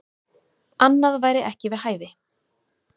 Annað væri ekki við hæfi.